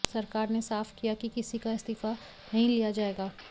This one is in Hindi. सरकार ने साफ किया कि किसी का इस्तीफा नहीं लिया जाएगा